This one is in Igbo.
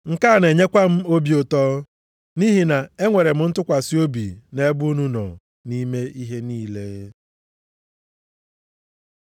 Nke a na-enyekwa m obi ụtọ nʼihi na enwere m ntụkwasị obi nʼebe unu nọ nʼime ihe niile.